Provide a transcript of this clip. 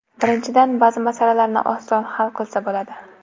Birinchidan, ba’zi masalalarni oson hal qilsa bo‘ladi.